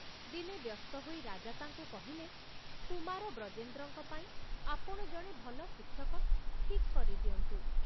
ଦିନେ ବ୍ୟସ୍ତ ହୋଇ ରାଜା ତାଙ୍କୁ କହିଲେ, କୁମାର ବ୍ରଜେନ୍ଦ୍ରଙ୍କ ପାଇଁ ଆପଣ ଜଣେ ଭଲ ଶିକ୍ଷକ ଠିକ କରି ଦିଅନ୍ତୁ।